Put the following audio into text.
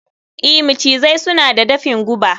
i, macizai suna da dafin guba